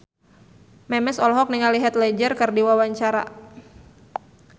Memes olohok ningali Heath Ledger keur diwawancara